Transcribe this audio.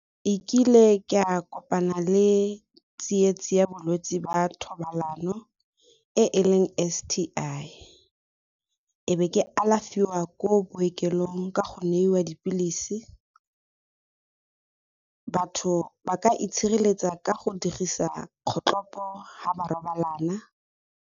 E kile ke a kopana le tsietsi ya bolwetse ba thobalano e e leng S_T_I e be ke alafiwa ko bookelong ka go neiwa dipilisi, batho ba ka itshireletsa ka go dirisa kgotlhopo ga ba robalana.